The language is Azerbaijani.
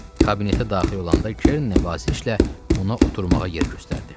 Kabinetə daxil olanda Kerin nəvazişlə ona oturmağa yer göstərdi.